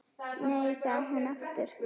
Nei, sagði hún aftur.